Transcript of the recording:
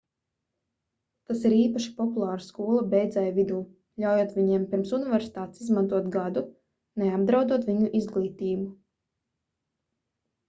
tas ir īpaši populāri skolu beidzēju vidū ļaujot viņiem pirms universitātes izmantot gadu neapdraudot viņu izglītību